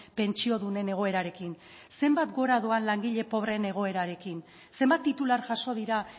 pentsiodunen egoerarekin zenbat gora doan langile pobreen egoerarekin zenbat titular jaso dira